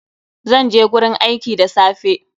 Zan je gurin aiki da safe.